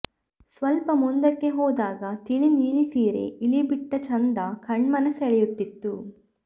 ಸ್ವಲ್ಪ ಮುಂದಕ್ಕೆ ಹೋದಾಗ ತಿಳಿ ನೀಲಿ ಸೀರೆ ಇಳಿಬಿಟ್ಟ ಚಂದ ಕಣ್ಮನ ಸೆಳೆಯುತ್ತಿತ್ತು